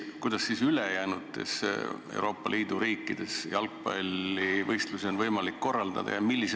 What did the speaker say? Kuidas siis ülejäänud Euroopa riikides jalgpallivõistlusi on võimalik korraldada?